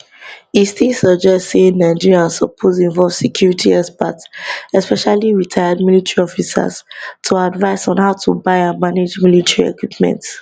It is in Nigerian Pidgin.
e still suggest say nigeria suppose involve security experts especially retired military officers to advise on how to buy and manage military equipment